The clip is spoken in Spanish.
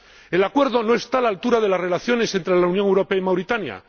El Acuerdo no está a la altura de las relaciones entre la Unión Europea y Mauritania.